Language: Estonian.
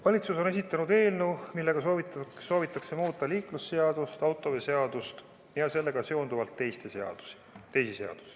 Valitsus on esitanud eelnõu, millega soovitakse muuta liiklusseadust, autoveoseadust ja sellega seonduvalt teisi seadusi.